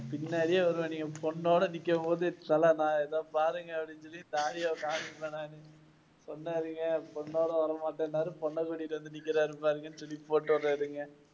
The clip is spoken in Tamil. பின்னாடியே வருவேன். நீங்க பொண்ணோட நிக்கும் போது தல நான் இதை பாருங்க அப்படின்னு சொல்லி . பொண்ணோட வரமாட்டேன்னாரு பொண்ணை கூட்டிட்டு வந்து நிக்கறாரு பாருங்கன்னு சொல்லி போட்டுவிடறேன் இருங்க.